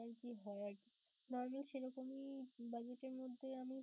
আরকি হয় আরকি normal সেরকমই budget এর মধ্যে আমি